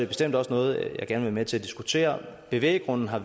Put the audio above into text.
bestemt også noget jeg gerne med til at diskutere bevæggrunden har